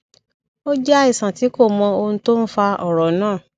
ó jẹ àìsàn tí kò mọ ohun tó ń fa ọràn náà